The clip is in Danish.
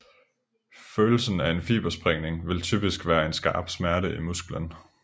Følelsen af en fibersprængning vil typisk være en skarp smerte i musklen